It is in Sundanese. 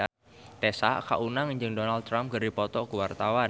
Tessa Kaunang jeung Donald Trump keur dipoto ku wartawan